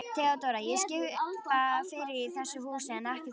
THEODÓRA: Ég skipa fyrir í þessu húsi en ekki þér.